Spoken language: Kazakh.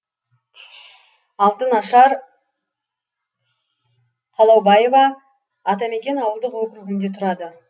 алтынашар қалаубаева атамекен ауылдық округінде тұрады